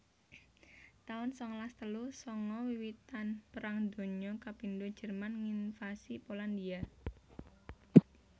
taun sangalas telu sanga Wiwitan Perang Donya kapindho Jerman nginvasi Polandhia